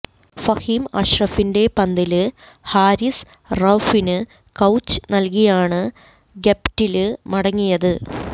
ഫഹീം അഷ്റഫിന്റെ പന്തില് ഹാരിസ് റൌഫിന് ക്യാച്ച് നല്കിയാണ് ഗപ്റ്റില് മടങ്ങിയത്